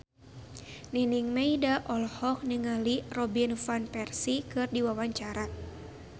Nining Meida olohok ningali Robin Van Persie keur diwawancara